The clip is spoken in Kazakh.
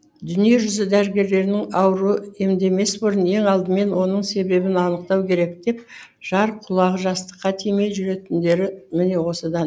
дүниежүзі дәрігерлерінің ауруды емдемес бұрын ең алдымен оның себебін анықтау керек деп жар құлағы жастыққа тимей жүретіндері міне осыдан